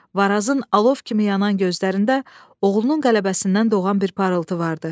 Varazın alov kimi yanan gözlərində oğlunun qələbəsindən doğan bir parıltı vardı.